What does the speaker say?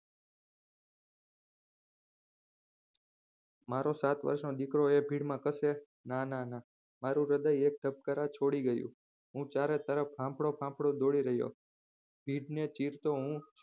મારો સાત વર્ષ નો દીકરો આ ભીડમાં કસે ના ના ના મારુ હૃદય એક ધબકારા છોડી ગયું હું ચારે તરફ હાંફળો ફાંફળો દોડી રહ્યો હતો વીજને ચીરતો હું